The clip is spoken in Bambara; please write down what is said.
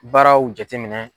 Baaraw jate minɛ.